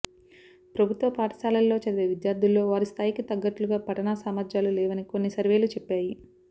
ప్రభుత్వ పాఠశాలల్లో చదివే విద్యార్థుల్లో వారి స్థాయికి తగ్గట్లుగా పఠనా సామర్థ్యాలు లేవని కొన్ని సర్వేలు చెప్పాయి